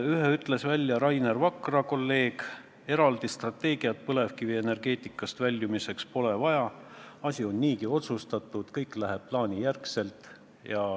Ühe ütles Rainer Vakra, kolleeg: eraldi strateegiat põlevkivienergeetikast väljumiseks pole vaja, asi on niigi otsustatud, kõik läheb plaanijärgselt.